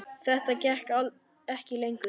Þetta gekk ekki lengur.